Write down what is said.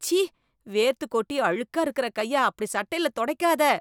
ச்சீ! வேர்த்து கொட்டி அழுக்கா இருக்கற கைய அப்டி சட்டைல தொடைக்காத.